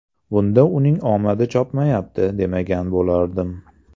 Bunda uning omadi chopmayapti demagan bo‘lardim.